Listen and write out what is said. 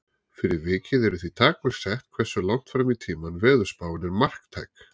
Fyrir vikið eru því takmörk sett hversu langt fram í tímann veðurspáin er marktæk.